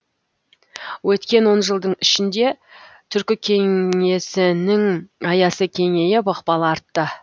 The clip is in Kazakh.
өткен он жылдың ішінде түркі кеңесінің аясы кеңейіп ықпалы артты